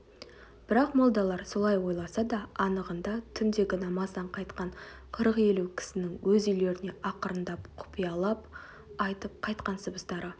бірақ молдалар солай ойласа да анығында түндегі намаздан қайтқан қырық-елу кісінің өз үйлеріне ақырындап құпиялап айтып қайтқан сыбыстары